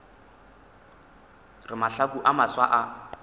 re mahlaku a mafsa a